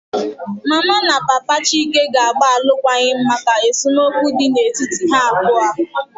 Mama na Papa Chike ga-agba alụkwaghịm maka esemokwu dị n'etiti ha abụọ